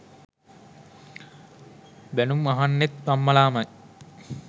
බැනුම් අහන්නෙත් අම්මලාමයි.